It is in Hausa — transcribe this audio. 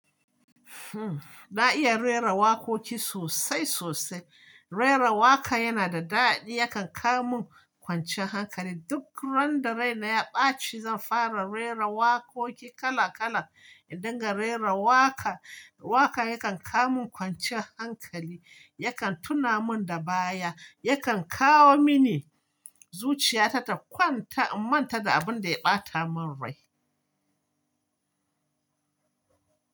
Hmm, na iya rera waƙoƙi sosai sosai. Rera waƙa yana da daɗi, yakan kawo mun kwanciyan hankali. Duk ran da rai na ya ɓaci, zan fara rera waƙoƙi kala kala. Indinga rera waƙa, waƙa yakan kawo mun kwancin hankali, yakan tuna mun da baya, yakan kawo mini zuciya ta ta kwanta in manta da abun da ya ɓata mun rai.